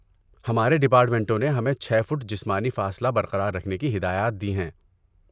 ہمارے ڈپارٹمنٹوں نے ہمیں چھ فٹ جسمانی فاصلہ برقرار رکھنے کی ہدایات دی ہیں۔